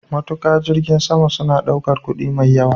Matuka jirgin sama suna ɗaukar kuɗi mai yawa.